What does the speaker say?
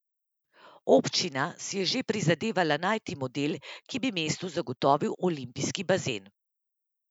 Občina si je že prizadevala najti model, ki bi mestu zagotovil olimpijski bazen.